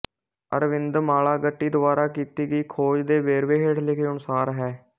ਅਰਵਿੰਦ ਮਾਲਾਗੱਟੀ ਦੁਆਰਾ ਕੀਤੀ ਗਈ ਖੋਜ ਦੇ ਵੇਰਵੇ ਹੇਠ ਲਿਖੇ ਅਨੁਸਾਰ ਹੈ